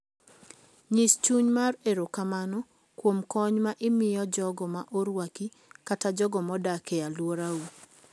Nyis chuny mar erokamano kuom kony ma imiyo jogo ma orwaki kata jogo modak e alworau.